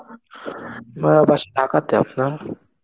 আমার বাসা ঢাকা তে. আপনার?